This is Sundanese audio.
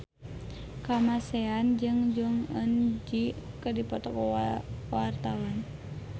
Kamasean jeung Jong Eun Ji keur dipoto ku wartawan